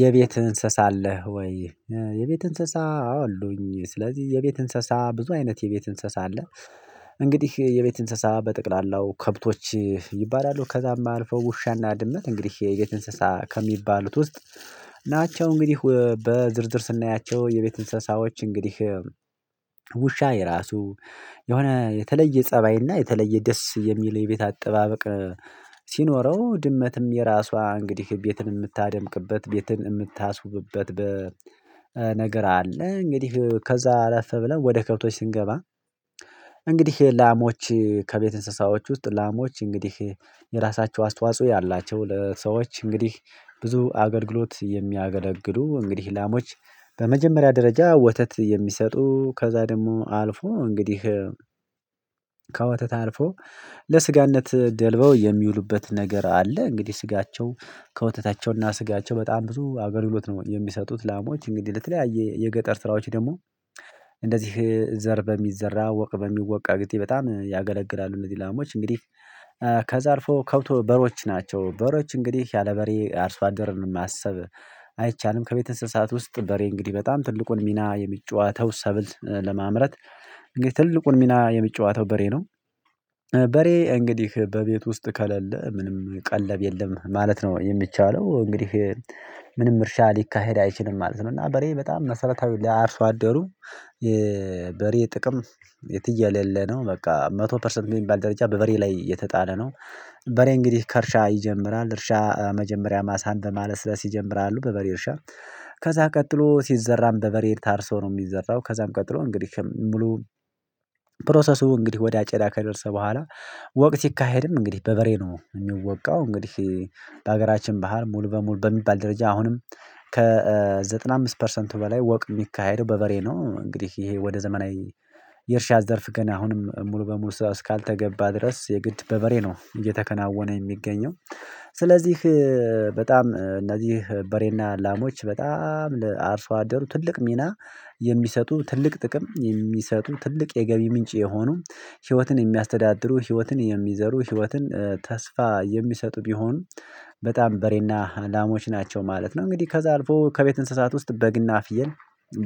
የቤት እንስሳ አለህ ወይ? የቤት እንስሳ አሉኝ ስለዚህ የቤት እንስሳ ብዙ አይነት የቤት እንስሳ አለ። እንግዲህ የቤት እንስሳ በጠቅላላው ከብቶች ይባላሉ ከዛም አልፈው ውሻና ድመት እንግዲህ የቤት እንስሳ ከሚባሉት ውስጥ ናቸው። እንግዲህ በዝርዝር ስናያቸው የቤት እንስሳዎች እንግዲህ ውሻ የራሱ የሆነ የተለየ ፀባይና የተለየ ደስ የሚል የቤት አጠባበቅ። ሲኖረው ድመትም የራሷ እንግዲህ ቤትን የምታደምቅበት ቤትን የምታስውብበት በ ነገር አለ እንግዲህ ከዛ አላፈም ብለን ወደ ከብቶች ስንገባ። እንግዲህ ላሞች ከቤት እንስሳዎች ውስጥ ላሞች እንግዲህ የራሳቸው አስተዋጽኦ ያላቸው ለሰዎች እንግዲህ ብዙ አገልግሎት የሚያገለግሉ እንግዲህ ላሞች። በመጀመሪያ ደረጃ ወተት የሚሰጡ ከዛ ደግሞ አልፎ እንግዲህ ከወተት አልፎ ለስጋነት ደልበው የሚውሉበት ነገር አለ። እንግዲህ ስጋቸው ከወተታቸውና ስጋቸው በጣም ብዙ አገልግሎት ነው የሚሰጡት ላሞች እንግዲህ ለተለያየ የገጠር ስራዎች ደግሞ እንደዚህ ዘር በሚዘራ ወቅ በሚወቅ አግኝቼ በጣም ያገለግላሉ። እነዚህ ላሞች እንግዲህ ከዛ አልፎ ከውቶ በሮች ናቸው። በሮች እንግዲህ ያለ በሬ አርሷ ደርን ማሰብ አይቻልም። ከቤት እንስሳት ውስጥ በሬ እንግዲህ በጣም ትልቁን ሚና የሚጫወተው ሰብል ለማምረት ትልቁን ሚና የሚጨዋተው በሬ ነው። በሬ እንግዲህ በቤት ውስጥ ከሌለ ምንም ቀለብ የለም ማለት ነው የሚቻለው እንግዲህ ምንም እርሻ ሊካሄድ አይችልም ማለት ነው። እና በሬ በጣም መሰረታዊ ለአርሶ አደሩ የበሬ ጥቅም የተየለለ ነው በቃ መቶ ፐርሰንት የሚባል ደረጃ በበሬ ላይ የተጣለ ነው። በሬ እንግዲህ ከእርሻ ይጀምራል እርሻ መጀመሪያ ማሳን በማለስለስ ይጀምራሉ በበሬ እርሻ ከዛ ቀጥሎ ሲዘራም በበሬ ታርሶ ነው የሚዘራው ከዛም ቀጥሎ እንግዲህ ሙሉ ፕሮሰሱ እንግዲህ ወደ አጨዳ ከደረሰ በኋላ ወቅ ሲካሄድም እንግዲህ በበሬ ነው የሚወቃው እንግዲህ። በሀገራችን ባሀል ሙሉ በሙሉ በሚባል ደረጃ አሁንም ከዘጠና አምስት ፐርሰንቱ በላይ ወቅ የሚካሄደው በበሬ ነው። እንግዲህ ይሄ ወደ ዘመናዊ የእርሻ ዘርፍ ገና አሁንም ሙሉ በሙሉ እስካልተገባ ድረስ የግድ በበሬ ነው እየተከናወነ የሚገኘው። ስለዚህ በጣም እነዚህ በሬና ላሞች በጣም ለአርሶ አደሩ ትልቅ ሚና የሚሰጡ ትልቅ ጥቅም የሚሰጡ ትልቅ የገቢ ምንጭ የሆኑ ህይወትን የሚያስተዳድሩ ህይወትን የሚዘሩ ህይወትን ተስፋ የሚሰጡ ቢሆን በጣም በሬ እና ላሞች ናቸው ማለት ነው። እንግዲህ ከዛ አልፎ ከቤት እንስሳት ውስጥ በግና ፍየል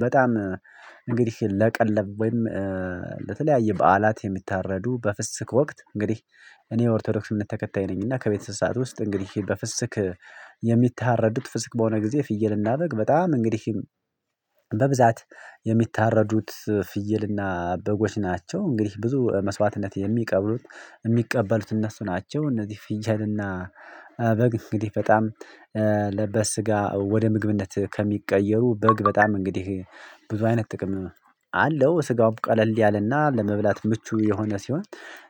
በጣም እንግዲህ ለቀለብ ወይም ለተለያየ በዓላት የምታረዱ በፍስክ ወቅት እንግዲህ እኔ ኦርቶዶክስነት እምነት ተከታይ ነኝ እና ከቤተሰባት ውስጥ እንግዲህ በፍስክ የሚታረዱት ፍስክ በሆነ ጊዜ ፍየል እና በግ በጣም እንግዲህ በብዛት የሚታረዱት ፍየልና በጎች ናቸው። እንግዲህ ብዙ መስዋዕትነት የሚቀብሉት የሚቀበሉት እነሱ ናቸው እነዚህ ፍየል እና በግ እንግዲህ በጣም ለበ ስጋ ወደ ምግብነት ከሚቀየሩ በግ በጣም እንግዲህ ብዙ አይነት ጥቅም አለው ስጋው ቀለል ያለና ለመብላት ምቹ የሆነ ሲሆን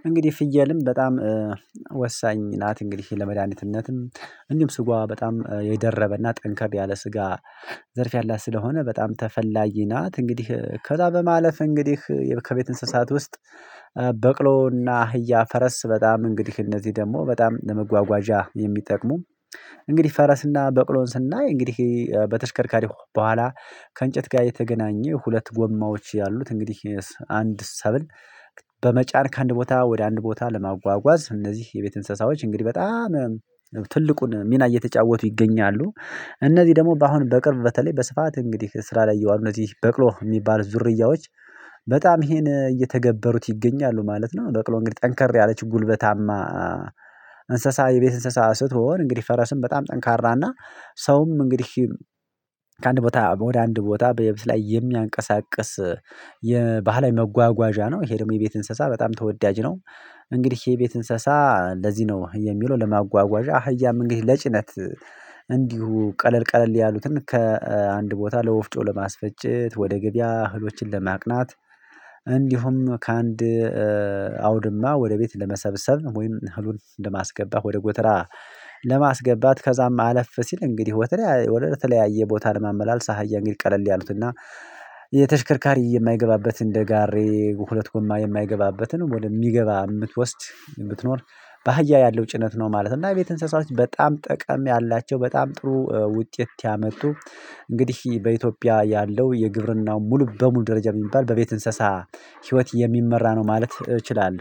እንግዲህ ፍየልም በጣም ወሳኝ ናት። እንግሊሽ ለመድሃኒትነትም እንዲሁም ስጋዋ በጣም የደረበ እና ጠንከር ያለ ስጋ ዘርፍ ያላት ስለሆነ በጣም ተፈላጊ ናት። እንግዲህ ከዛ በማለፍ እንግዲህ ከቤት እንስሳት ውስጥ በቅሎና አህያ ፈረስ በጣም እንግዲህ እነዚህ ደግሞ በጣም ለመጓጓዣ የሚጠቅሙ እንግዲህ ፈረስ እና በቅሎን ስናይ እንግዲህ በተሽከርካሪ በኋላ ከእንጨት ጋር የተገናኘ ሁለት ጎማዎች ያሉት እንግዲህ አንድ ሰብል በመጫን ከአንድ ቦታ ወደ አንድ ቦታ ለማጓጓዝ እነዚህ የቤት እንስሳዎች እንግዲህ በጣም ትልቁን ሚና እየተጫወቱ ይገኛሉ። እነዚህ ደግሞ አሁን በቅርብ በተለይ በስፋት እንግዲህ ስራ ላይ የዋል እነዚህ በቅሎ የሚባል ዝርያዎች በጣም ይሄን እየተገበሩት ይገኛሉ ማለት ነው። በቅሎ እንግዲህ ጠንከር ያለች ጉልበታማ እንስሳ የቤት እንስሳ ስትሆን እንግዲህ ፈረስም በጣም ጠንካራ እና ሰውም እንግዲህ ከአንድ ቦታ ወደ አንድ ቦታ በየብስ ላይ የሚያንቀሳቅስ የባህላዊ መጓጓዣ ነው። ይሄ ደግሞ የቤት እንስሳ በጣም ተወዳጅ ነው። እንግዲህ የቤት እንስሳ ለዚህ ነው የሚለው ለማጓጓዣ አህያም እንግዲህ ለጭነት እንዲሁ ቀለል ቀለል ያሉትን ከአንድ ቦታ ለወፍጮ ለማስፈጨት ወደ ገበያ እህሎችን ለማቅናት እንዲሁም ከአንድ አውድማ ወደ ቤት ለመሰብሰብ ወይም እህሉን ለማስገባት ወደ ጎተራ ለማስገባት ከዛም አለፍ ሲል እንግዲህ ወደ ተለያየ ቦታ ለማመላለስ አህያ እንግዲህ ቀለል ያሉት እና የተሽከርካሪ የማይገባበት እንደጋሬ ሁለት ጎማ የማይገባበትን ወደሚገባ የምትወስድ የምትኖር በአህያ ያለው ጭነት ነው። ማለት እና የቤት እንስሳዎች በጣም ጠቀም ያላቸው በጣም ጥሩ ውጤት ያመጡ እንግዲህ በኢትዮጵያ ያለው የግብርናው ሙሉ በሙሉ ደረጃ የሚባል በቤት እንስሳ ህይወት የሚመራ ነው ማለት እችላለሁ